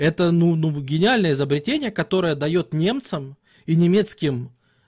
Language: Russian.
это ну ну гениальное изобретение которое даёт немцам и немецким